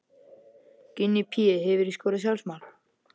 Gunni Pé Hefurðu skorað sjálfsmark?